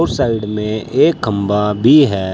उस साइड में एक खंभा भी है।